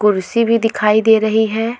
कुर्सी भी दिखाई दे रही है।